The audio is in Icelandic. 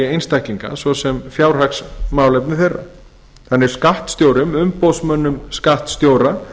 einstaklinga svo sem fjárhagsmálefni þeirra þannig er skattstjórum umboðsmönnum skattstjóra